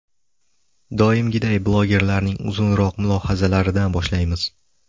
Doimgiday, blogerlarning uzunroq mulohazalaridan boshlaymiz.